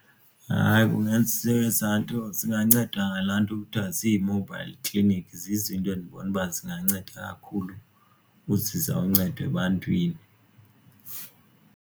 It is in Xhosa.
Hayi, ezaa nto zinganceda ngalaa nto kuthiwa zii-mobile clinic zizinto endibona uba zinganceda kakhulu uzisa uncedo ebantwini.